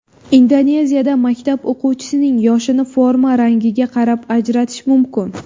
Indoneziyada maktab o‘quvchisining yoshini forma rangiga qarab ajratish mumkin.